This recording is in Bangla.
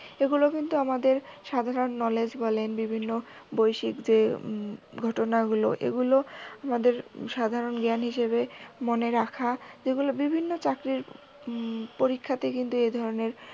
এগুল কিন্তু আমাদের সাধারণ knowledge বলেন বিভিন্ন বৈষয়িক যে ঘটনাগুলো এগুলো আমাদের সাধারণ জ্ঞান হিসেবে মনে রাখা এগুলো বিভিন্ন চাকরির পরীক্ষাতে কিন্তু এধরনের